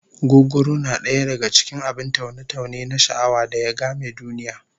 Gugguru na daya daka cikin abin taune-taune na sha'awa da ya game duniya